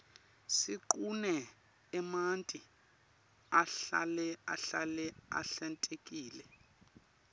siqune emanti ahlale ahlale ahlantekile